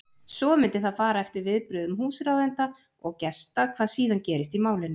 Svo mundi það fara eftir viðbrögðum húsráðenda og gesta hvað síðan gerist í málinu.